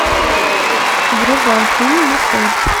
врубай фильм мотель